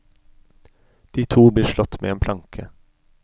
De to blir slått med en planke.